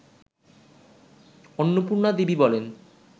অন্নপূর্ণা দেবী বলেন